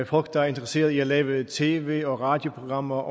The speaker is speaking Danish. folk der er interesserede i at lave tv og radioprogrammer